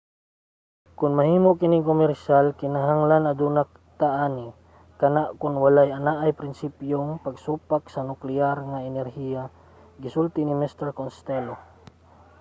"kon mahimo kining komersyal kinahanglan aduna ta ani. kana kon walay anaa sa prinsipyong pagsupak sa nukleyar nga enerhiya gisulti ni mr. costello